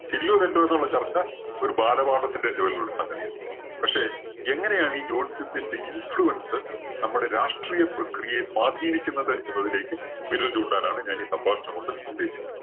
ശരിയോ തെറ്റോ എന്നുള്ള ചർച്ച ഒരു ബാലപാഠത്തിന്റെ level ലുള്ള സംഗതിയാണ്. പക്ഷേ എങ്ങനെയാണ് ഈ ജോത്സ്യത്തിന്റെ influence നമ്മുടെ രാഷ്ട്രീയ പ്രക്രിയയെ സ്വാധീനിക്കുന്നത് എന്നതിലേക്ക് വിരൽ ചൂണ്ടാനാണ് ഞാൻ ഈ സംഭാഷണം കൊണ്ട് ഉദ്ദേശിക്കുന്നത്.